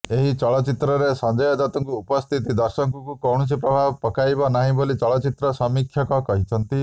ଏହି ଚଳଚ୍ଚିତ୍ରରେ ସଞ୍ଜୟ ଦତ୍ତଙ୍କ ଉପସ୍ଥିତି ଦର୍ଶକଙ୍କୁ କୌଣସି ପ୍ରଭାବ ପକାଇ ନାହିଁ ବୋଲି ଚଳଚ୍ଚିତ୍ର ସମୀକ୍ଷକ କହିଛନ୍ତି